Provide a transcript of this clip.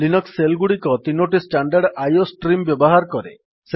Linux shell ଗୁଡିକ ତିନୋଟି standard IO stream ବ୍ୟବହାର କରେ